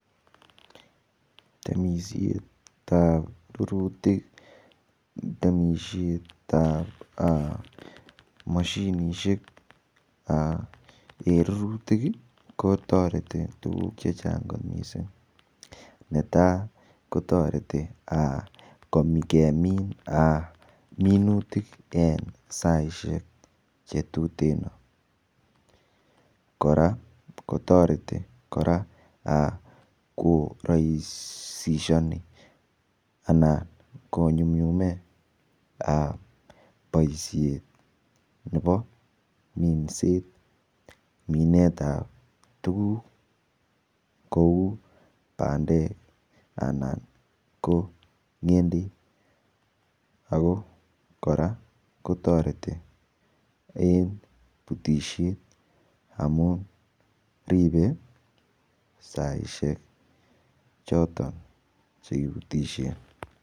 Temisiet ap rututik temisiet ap mashinishek eng rututik kotoreti eng tukuk chechang kot mising netai kotoreti kemin minutik en saishek che tuten kora kotoreti koraisishoni anan konyumnyume boishet nepo minset minet ap tukuk kou bandek anan ko ng'endek ako kora kotoreti eng' putishet amun ripei saishek choton chekiputishen